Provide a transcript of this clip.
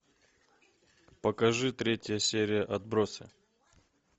покажи третья серия отбросы